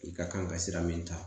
I ka kan ka sira min ta